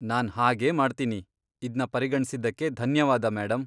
ನಾನ್ ಹಾಗೇ ಮಾಡ್ತೀನಿ, ಇದ್ನ ಪರಿಗಣ್ಸಿದ್ದಕ್ಕೆ ಧನ್ಯವಾದ ಮೇಡಂ.